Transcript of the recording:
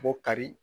Bɔ kari